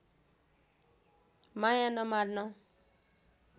माया नमार्न